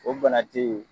O bana te yen